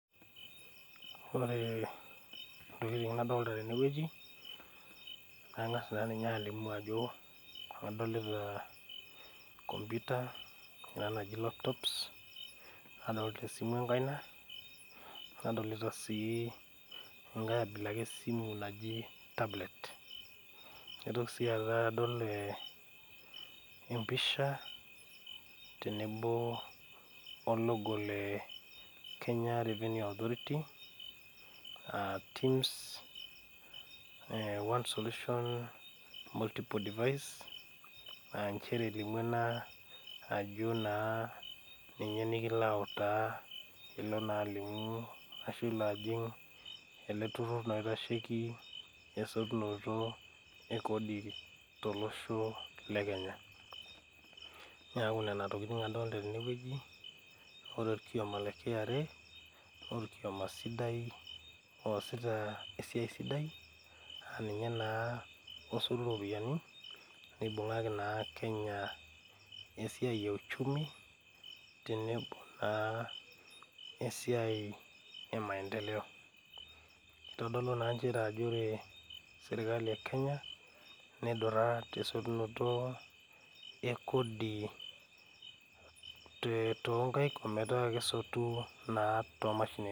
Ore ntokitin nadolta tenewueji nang'as naa ninye alimu ajo adolita computer kuna naji laptops nadolta esimu enkaina nadolita sii enkae abila ake esimu naji tablet naitoki sii ata adol eh empisha tenebo o logo le kenya revenue authority aa TIMS one solution, multiple device anchere elimu ena ajo naa ninye nikilo autaa piilo naa alimu ashu ilo ajing ele turrur naa oitasheki esotunoto e kodi tolosho le kenya niaku nena tokiting adolta tenewueji ore orkioma le KRA norkioma sidai oosita esiai sidai aninye naa osotu iropiyiani nebung'aki naa kenya esiai e uchumi tenebo naa esiai e maendeleo kitodolu naa nchere ajo ore sirkali e kenya naidurra tesotunoto ekodi.